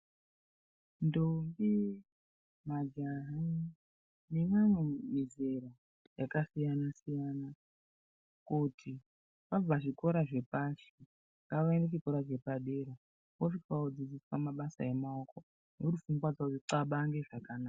Ndombi, majaha nemamwe mizera yakasiyana siyana kuti vabva zvikora zvepashi, ngavaende chikora chepadera, vosvika vodzidziswa mabasa emaoko ndokuti pfungwa dzawo dzixabange zvakanaka.